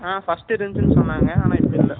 அ first இருந்துச்சு சொன்னாங்க ஆனா இப்ப இல்லை